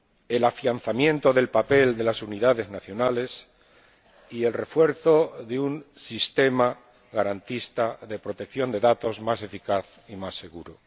el afianzamiento del papel de las unidades nacionales y el refuerzo de un sistema garantista de protección de datos más eficaz y más seguro.